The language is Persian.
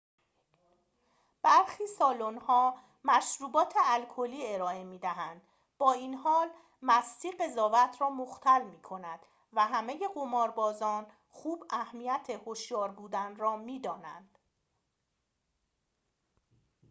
برخی سالن‌ها مشروبات الکلی ارائه می دهند با این حال مستی قضاوت را مختل می کند و همه قماربازان خوب اهمیت هوشیار بودن را می دانند